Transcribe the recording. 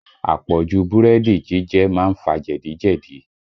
Àpọ̀jù búrẹ́dì jíjẹ má ń fa jẹ̀dí jẹ̀dí